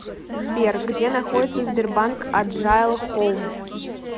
сбер где находится сбербанк аджайл хоум